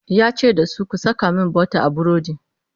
yace da su "ku Saka min butter a burodi!"